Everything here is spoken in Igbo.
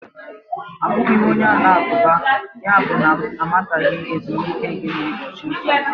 Abụghị m onye Alakụba, yabụ na m amataghị ezumike gị na ụbọchị nsọ gị